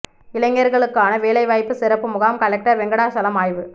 இளைஞர்களுக்கான வேலைவாய்ப்பு சிறப்பு முகாம் கலெக்டர் வெங்கடாசலம் ஆய்வு